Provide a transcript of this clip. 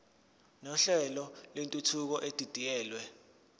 nohlelo lwentuthuko edidiyelwe